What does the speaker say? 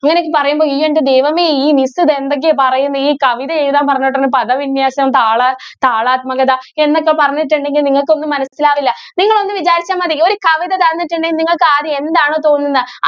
ഇങ്ങനെയൊക്കെ പറയുമ്പോൾ ഇയ്യോ എൻ്റെ ദൈവമേ ഈ miss ഇത് എന്തൊക്കെയാ പറയുന്നെ? ഈ കവിത എഴുതാൻ പറഞ്ഞിട്ട് പദവിന്യാസം, താള, താളാത്മകത എന്നൊക്കെ പറഞ്ഞിട്ടുണ്ടെങ്കിൽ നിങ്ങൾക്ക് ഒന്നും മനസില്ലാവില്ല. നിങ്ങള് ഒന്ന് വിചാരിച്ചാൽ മതി ഒരു കവിത തന്നിട്ടുണ്ടെങ്കിൽ നിങ്ങൾക്ക് ആദ്യം എന്താണോ തോന്നുന്നേ